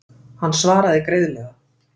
Hann svaraði greiðlega.